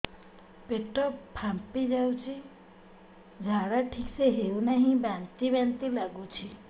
ପେଟ ଫାମ୍ପି ଯାଉଛି ଝାଡା ଠିକ ସେ ହଉନାହିଁ ବାନ୍ତି ବାନ୍ତି ଲଗୁଛି